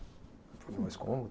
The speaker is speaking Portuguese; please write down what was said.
mas como?